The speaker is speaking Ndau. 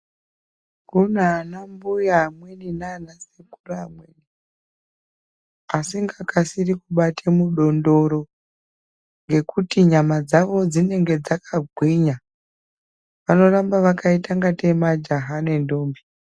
Kunanambuya amweni nanasekuru amweni asingakasiri kubate mudondoro ngekuti nyama dzawo dzinonga dzakagwinya vanoramba vakaita kunga tei majaha nendombi.